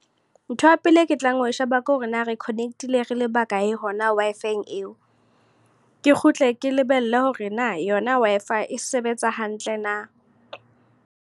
Ntho ya pele e ke tlang ho e sheba, ke hore na re connect-ile re le bakae hona Wi-Fi eo. Ke kgutle ke lebelle hore na yona Wi-Fi e sebetsa hantle na.